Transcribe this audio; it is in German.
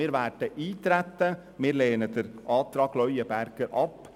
Wir werden auf das Gesetz eintreten und lehnen den Antrag Leuenberger ab.